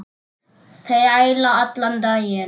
Þræla allan daginn!